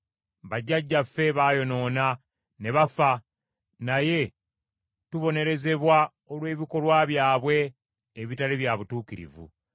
Bajjajjaffe baayonoona, ne bafa, naye tubonerezebwa olw’ebikolwa byabwe ebitaali bya butuukirivu.